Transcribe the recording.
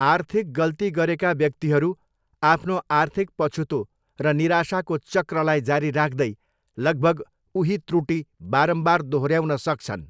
आर्थिक गल्ती गरेका व्यक्तिहरू आफ्नो आर्थिक पछुतो र निराशाको चक्रलाई जारी राख्दै, लभग उही त्रुटि बारम्बार दोहोऱ्याउन सक्छन्।